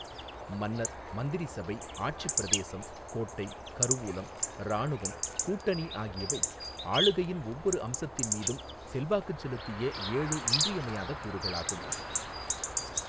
மன்னர், மந்திரி சபை, ஆட்சிப் பிரதேசம், கோட்டை, கருவூலம், இராணுவம், கூட்டணி ஆகியவை ஆளுகையின் ஒவ்வொரு அம்சத்தின் மீதும் செல்வாக்குச் செலுத்திய ஏழு இன்றியமையாத கூறுகளாகும்.